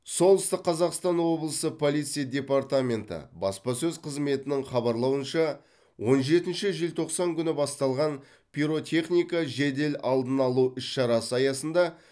солтүстік қазақстан облысы полиция департаменті баспасөз қызметінің хабарлауынша он жетінші желтоқсан күні басталған пиротехника жедел алдын алу іс шарасы аясында